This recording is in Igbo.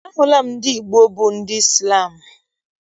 Ahụla m ndị Igbo bụ ndị Izlam.